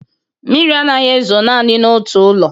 Mmiri anaghị ezo naanị n'otu ụlọ.